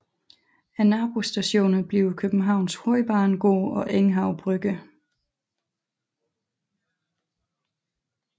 Nabostationer bliver Københavns Hovedbanegård og Enghave Brygge